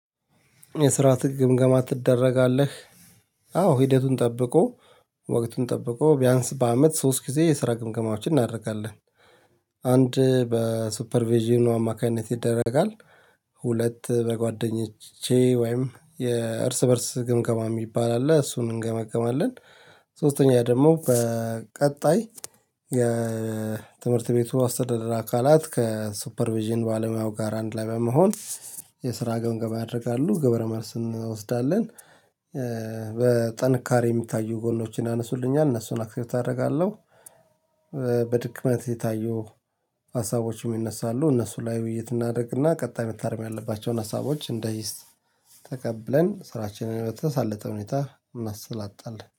የስራ ትግ ግምገማ ትደረጋለህ? አዎ ሂደቱን ጠብቆ ወቅቱን ጠብቆ ቢያንስ በአመት ሶስት ጊዜ የስራ ግምግማዎችን እናደርጋለን። አንድ በሱፐር ቪዥኑ አማካኝነት ይደረጋል። ሁለት በጓደኞቼ ወይም የእርስ በእርስ ግምገማ የሚባል አለ እሱን እንገመግማለን። ሶስተኛ ደግሞ በቀጣይ የትምህርት ቤቱ አስተዳደር አካላት ከሱፐር ቪዥን ባለሙያው ጋር አንድ ላይ በመሆን የስራ ገምገማ ያደርጋሉ ግብረ መልስ እንወስዳለን። በጠንካሬ የሚታዩ ጎኖችን አነሱልኛል እነሱን አክሴብት አደርጋለሁ። በድክመት የታዩ ሀሳቦችም ይነሳሉ እነሱ ላይ ውይይት እናድርግና ቀጣይ መታረም ያለባቸውን ሀሳቦች እንደ ህይስት ተቀብለን ስራችንን በተሳለተ ሁኔታ እናሳልጣለን